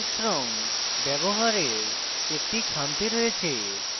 index রঙ ব্যবহারের একটি খামতি রয়েছে